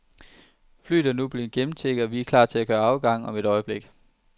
Flyet er nu blevet gennemchecket, og vi kan gøre klar til afgang om et øjeblik.